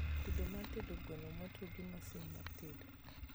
tedo mar tedo gweno motwo gi masin mar tedo